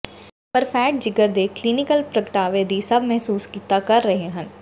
ਪਰ ਫ਼ੈਟ ਜਿਗਰ ਦੇ ਕਲੀਨਿਕਲ ਪ੍ਰਗਟਾਵੇ ਦੀ ਸਭ ਮਹਿਸੂਸ ਕੀਤਾ ਕਰ ਰਹੇ ਹਨ